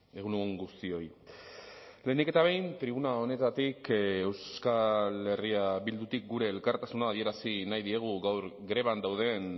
egun on guztioi lehenik eta behin tribuna honetatik euskal herria bildutik gure elkartasuna adierazi nahi diegu gaur greban dauden